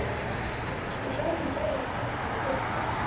Við verðum bæði að sætta okkur við það.